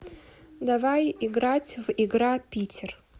давай играть в игра питер